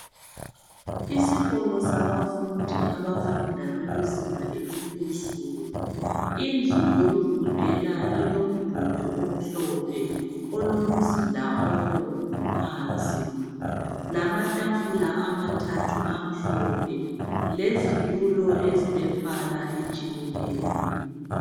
Isikolo sabafundi abafunda bekuzinga laphezulu indlu yokufundela ilomduli omhlophe elomzila obomvu phansi lamatafula amathathu amhlophe lezitulo ezilo mbala otshiyeneyo